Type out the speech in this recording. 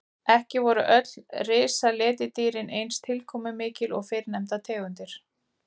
Ekki voru öll risaletidýrin eins tilkomumikil og fyrrnefndar tegundir.